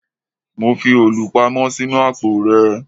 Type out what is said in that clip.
Mo fi òòlù pamọ́ sínú àpò rẹ